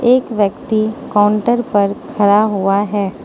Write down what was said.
एक व्यक्ति काउंटर पर खड़ा हुआ है।